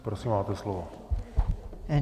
Prosím, máte slovo.